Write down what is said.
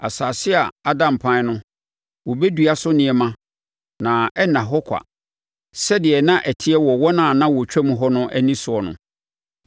Asase a ada mpan no, wɔbɛdua so nneɛma na ɛrenna hɔ kwa sɛdeɛ na ɛteɛ wɔ wɔn a na wɔtwam hɔ no ani soɔ no.